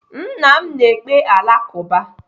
Nna m na-ekpe Alakụba.